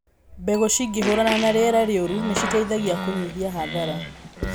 Mbegũ cingĩhũrana na rĩera rĩũru nĩ citeithagia kũnyihia hathara.